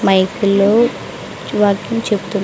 mic లో చేప్--